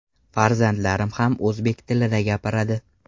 Farzandlarim ham o‘zbek tilida gapiradi.